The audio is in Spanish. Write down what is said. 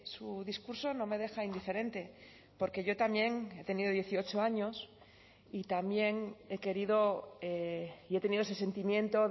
su discurso no me deja indiferente porque yo también he tenido dieciocho años y también he querido y he tenido ese sentimiento